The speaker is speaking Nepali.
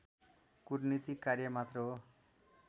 कुटनीतिक कार्य मात्र हो